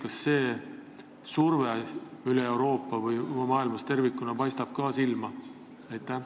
Kas see surve üle Euroopa või maailmas tervikuna paistab ka silma?